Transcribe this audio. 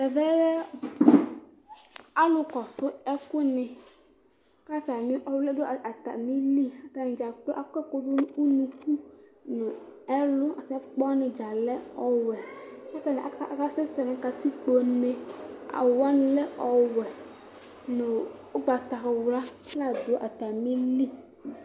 Ɛvɛ lɛ alʋ kɔsʋ ɛkʋni kʋ atami ɔwli yɛ dʋ atamili atani dza kplo akɔ ɛkʋdʋ nʋ ʋnʋkʋ nʋ ɛlʋ kʋ ɛfʋ wani dza lɛ ɔwɛ kʋ atani aka sɛsɛ nʋ katikpone awʋ wani lɛ ɔwɛ nʋ ʋgbatawla flawa dʋ atamili